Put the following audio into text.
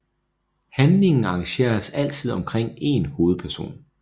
Handlingen arrangeres altid omkring en hovedperson